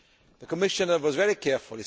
The Commissioner was very careful.